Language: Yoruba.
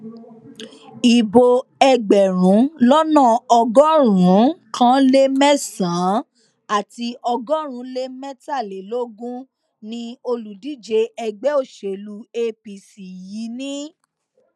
ibo ẹgbẹrún lọnà ọgọrùnún kan lé mẹsànán àti ọgọrin lé mẹtàlélógún ni olùdíje ẹgbẹ òṣèlú apc yìí ní